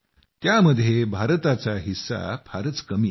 त्यामध्ये भारताचा हिस्सा फारच कमी आहे